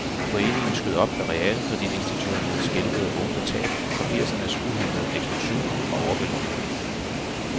Foreningen skød op, da realkreditinstitutterne skælvede oven på tab fra firsernes uhæmmede ekspansion og overbelåninger.